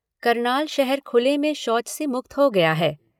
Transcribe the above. करनाल शहर खुले में शौच से मुक्त हो गया है।